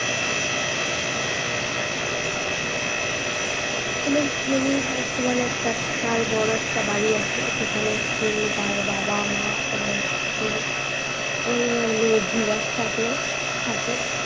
M S ধোনির বর্তমানে একটা বিশাল বড় একটা বাড়ি আছে যেখানে তিনি তার বাবা মা এবং ওনার একজন দিদার সাথে থাকেন